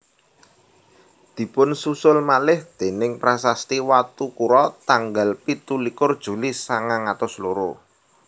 Dipunsusul malih déning prasasti Watukura tanggal pitu likur Juli sangang atus loro